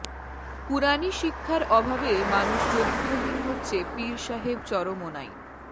কুরআনী শিক্ষার অভাবে মানুষ চরিত্রহীন হচ্ছে পীর সাহেব চরমোনাই